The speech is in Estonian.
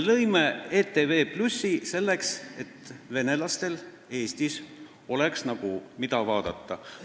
Me lõime ETV+ selleks, et venelastel Eestis oleks, mida vaadata.